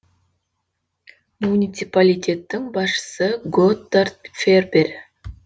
муниципалитеттің басшысы готтард фербер